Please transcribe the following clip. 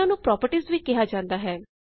ਇਹਨਾਂ ਨੂੰ ਪ੍ਰਾਪਰਟੀਜ਼ ਵੀ ਕਿਹਾ ਜਾਉਂਦਾ ਹੈ